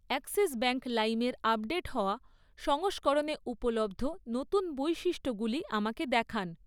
Axis Bank লাইমের update হওয়া সংস্করণে উপলব্ধ নতুন বৈশিষ্ট্যগুলি আমাকে দেখান!